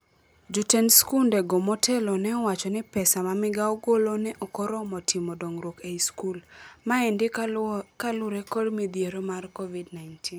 Jotend skunde go motelo neowacho ni pesa ma migao golo ne okoromo timo dongruok ei skul. Maendi kalure kod midhiero mar Covid-19.